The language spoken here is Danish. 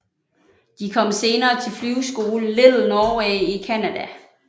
De kom senere til flyveskolen Little Norway i Canada